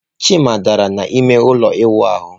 Chima dara n'ime ụlọ ịwụ ahụ.